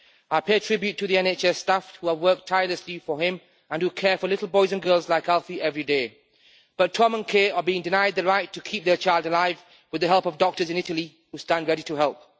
I pay tribute to the NHS staff who have worked tirelessly for him and who care for little boys and girls like Alfie every day, but Tom and Kay are being denied the right to keep their child alive with the help of doctors in Italy who stand ready to help.